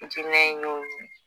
diinɛ in y'o ye